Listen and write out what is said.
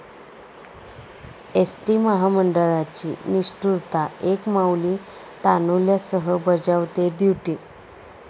ST महामंडळाची निष्ठुरता, एक माऊली तान्हुल्यासह बजावतेय ड्युटी!